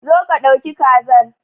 Zo ka dauki kazar.